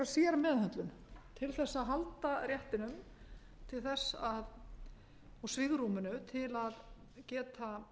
einhverja sérmeðhöndlun til þess að halda réttinum og svigrúminu til að geta